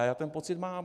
A já ten pocit mám.